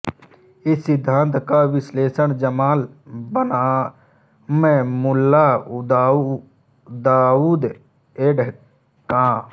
इस सिद्धांत का विश्लेषण जमाल बनाम मुल्ला दाऊद ऐड कं